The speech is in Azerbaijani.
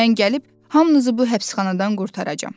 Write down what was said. Mən gəlib hamınızı bu həbsxanadan qurtaracam.